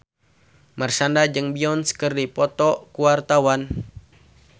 Marshanda jeung Beyonce keur dipoto ku wartawan